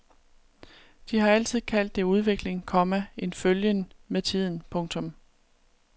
De har altid kaldt det udvikling, komma en følgen med tiden. punktum